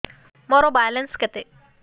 ମୋର ବାଲାନ୍ସ କେତେ